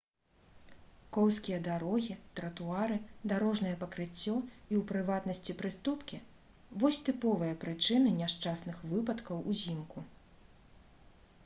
коўзкія дарогі тратуары дарожнае пакрыццё і у прыватнасці прыступкі вось тыповыя прычыны няшчасных выпадкаў узімку